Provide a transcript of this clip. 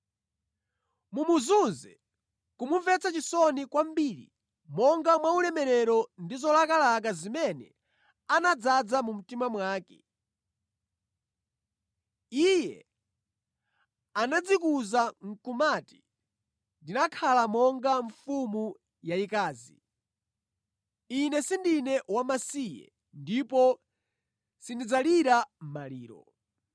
Mumuzunze, kumumvetsa chisoni kwambiri monga mwaulemerero ndi zolakalaka zimene anadzaza mu mtima mwake. Iye anadzikuza nʼkumati, ‘Ndinakhala monga mfumu yayikazi, ine sindine wamasiye ndipo sindidzalira maliro.’